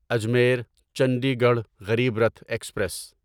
Ajmer Chandigarh Garib Rath express